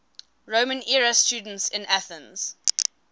roman era students in athens